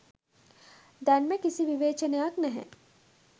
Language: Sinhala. දැන්ම කිසි විවේචනයක් නැහැ.